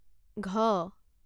ঘ